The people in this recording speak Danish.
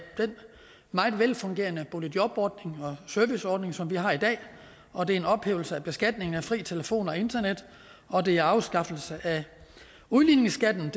den meget velfungerende boligjobordning og serviceordning som vi har i dag og det er en ophævelse af beskatningen af fri telefon og internet og det er afskaffelse af udligningsskatten